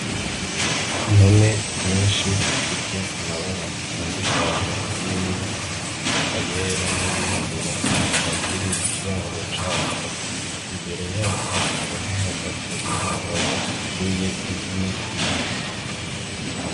Impene nyinshi zifise amabara atandukanye harimwo ayera n'ayirabura, zikaba ziri mu kiraro cazo. Imbere yazo hakaba hahagaze umugabo ateruye impene imwe.